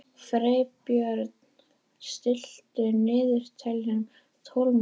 Freybjörn, stilltu niðurteljara á tólf mínútur.